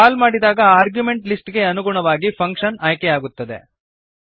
ಕಾಲ್ ಮಾಡಿದಾಗ ಆರ್ಗ್ಯುಮೆಂಟನ ಲಿಸ್ಟ್ ಗೆ ಅನುಗುಣವಾಗಿ ಫಂಕ್ಶನ್ ಆಯ್ಕೆಯಾಗುತ್ತದೆ